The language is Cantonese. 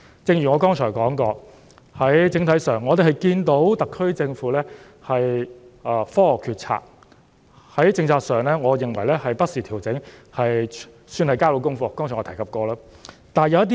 正如我剛才提到，整體上，我們看到特區政府是基於科學作出決策，而在政策上，我認為政府已不時作出調整，算是能夠交到功課，這點我剛才已有提及。